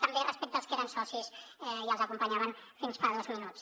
també respecte als que eren socis i els acompanyaven fins fa dos minuts